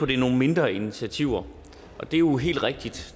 det er nogle mindre initiativer og det er jo helt rigtigt